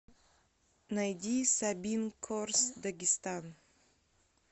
найди сабин корс дагестан